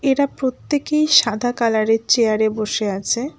এরা প্রত্যেকেই সাদা কালার -এর চেয়ার -এ বসে আছে।